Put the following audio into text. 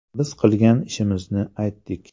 Biz qilgan ishimizni aytdik.